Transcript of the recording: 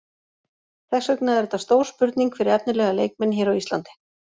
Þess vegna er þetta stór spurning fyrir efnilega leikmenn hér á Íslandi.